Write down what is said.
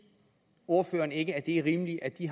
ordføreren ikke det er rimeligt at de